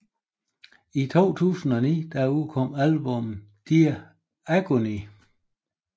I 2009 udkom albummet Dear Agony